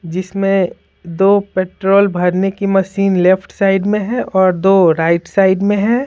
जिसमें दो पेट्रोल भरने की मशीन लेफ्ट साइड में है और दो राइट साइड में है।